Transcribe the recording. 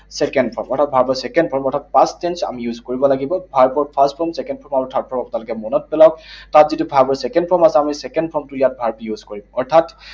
Second form, অৰ্থাৎ verb ৰ second form, অৰ্থাৎ past tense আমি use কৰিব লাগিব। Verb ৰ first form, second form, third form আপোনালোকে মনত পেলাওক। তাত যিটো verb ৰ second form আছে, আমি সেই second form টো ইয়াত verb use কৰিম। অৰ্থাৎ